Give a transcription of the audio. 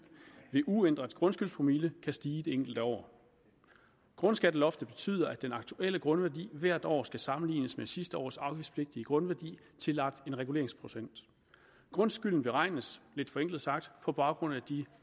ved uændret grundskyldspromille kan stige det enkelte år grundskatteloftet betyder at den aktuelle grundværdi hvert år skal sammenlignes med sidste års afgiftspligtige grundværdi tillagt en reguleringsprocent grundskylden beregnes lidt forenklet sagt på baggrund af